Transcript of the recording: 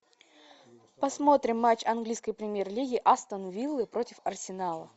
посмотрим матч английской премьер лиги астон виллы против арсенала